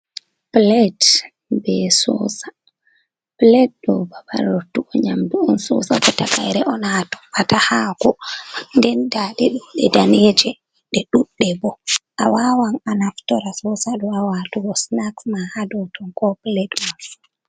Plet be sosa. Plet ɗum babal rottugo nyamdu on sosa bo takaire on haa a toɓɓata haako. Nden nda ɗe ɗo, ɗe daneeje, ɗe ɗuɗɗe bo. A wawan a naftora sosa ɗo haa waatugo snaks ma haa dou ton ko plet mai.